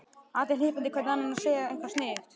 Allir hnippandi hver í annan og að segja eitthvað sniðugt.